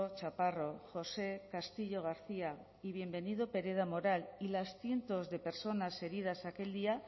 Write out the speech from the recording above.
chaparro josé castillo garcía y bienvenido pereda moral y las cientos de personas heridas aquel día